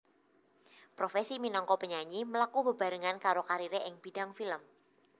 Profesi minangka penyanyi mlaku bebarengan karo kariré ing bidang film